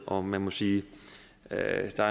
og man må sige at der